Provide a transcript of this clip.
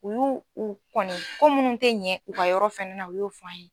U yu u kɔni ko munnu tɛ ɲɛ u ka yɔrɔ fɛnɛ na u y'o fɔ an ye.